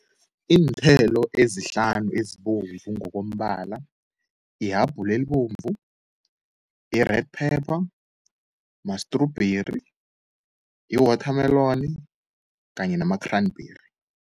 Iinthelo ezihlanu ezibovu ngokombala yihabhula elibomvu, i-red pepper, ma-strawberry, i-water meloni kanye nama-cranberry.